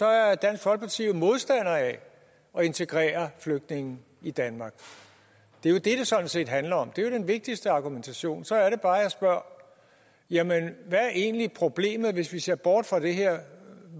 er dansk folkeparti jo modstander af at integrere flygtninge i danmark det er jo det det sådan set handler om det er den vigtigste argumentation så er det bare at jeg spørger jamen hvad er egentlig problemet hvis vi ser bort fra det her